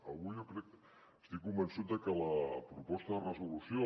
avui jo crec estic convençut de que la proposta de resolució